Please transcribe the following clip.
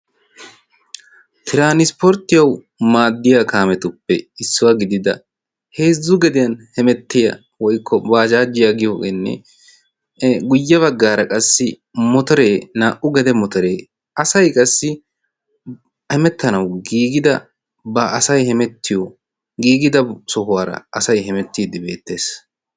Tiranispporttiyawu maaddiya kaametuppe issuwaa gidida heezzu gediyan hemettiya woykko baajaajiyaa giyoogeenne guyye baggaara qassi motoree naa"u gede motoree asai qassi hemettanawu giigida ba asai hemettiyo giigida sohuwaara asai hemettiiddi beettees.